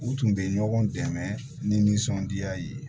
U tun bɛ ɲɔgɔn dɛmɛ nisɔndiya ye